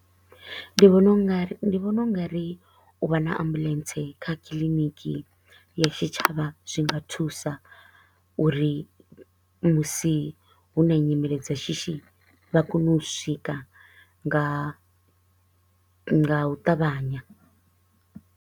Ndi vhona u ngari ndi vhona u nga ri u vha na ambulance kha clinic ya tshitshavha zwi nga thusa uri musi hu na nyimele dza shishi vha kone u swika nga nga u ṱavhanya.